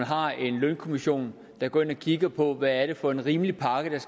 har en lønkommission der går ind og kigger på hvad det er for en rimelig pakke der